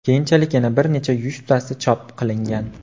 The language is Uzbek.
Keyinchalik yana bir necha yuztasi chop qilingan.